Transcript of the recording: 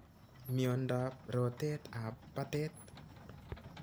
Miondap rotet ap patet